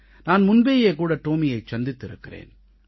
நான் முன்பேயே கூட டோமியைச் சந்தித்திருக்கிறேன்